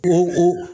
Ko